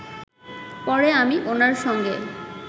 পরে আমি ওনার সঙ্গে